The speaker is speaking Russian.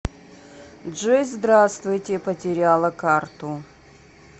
джой здравствуйте потеряла карту